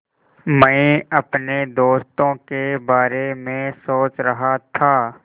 मैं अपने दोस्तों के बारे में सोच रहा था